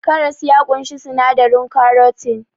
Karas ya ƙunshi sinadarin karotin